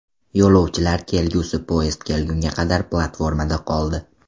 Yo‘lovchilar kelgusi poyezd kelgunga qadar platformada qoldi.